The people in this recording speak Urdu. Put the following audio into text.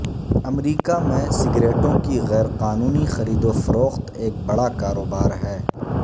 امریکہ میں سگریٹوں کی غیرقانونی خریدوفروخت ایک بڑا کاروبار ہے